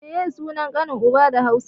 Meye sunan kanin uba da Hausa?